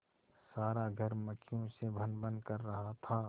सारा घर मक्खियों से भनभन कर रहा था